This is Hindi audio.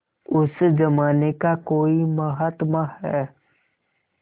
उस जमाने का कोई महात्मा है